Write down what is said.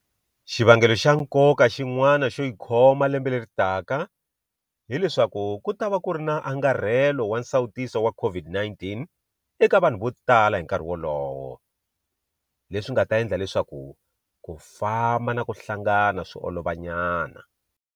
Xivangelo xa nkoka xin'wana xo yi khoma lembe leri taka hi leswaku ku ta va ku ri na angarhelo wa nsawutiso wa COVID-19 eka vanhu vo tala hi nkarhi wolowo, leswi nga ta endla leswaku ku famba na ku hlangana swi olovanyana.